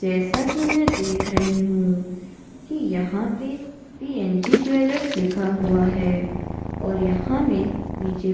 जैसा की मैं देख रही हूँ की यहाँ पे पीएनजी ज्वेलर्स लिखा हुआ हैं और यहाँ में नीचे --